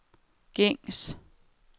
gængs